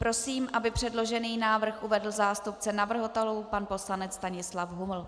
Prosím, aby předložený návrh uvedl zástupce navrhovatelů pan poslanec Stanislav Huml.